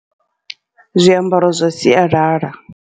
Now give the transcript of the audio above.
Zwiambaro zwa sialala.